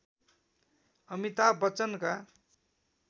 Amitabh बच्चनका